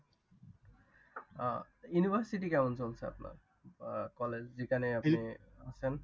আহ university কেমন চলছে আপনার? college যেখানে আপনি আছেন।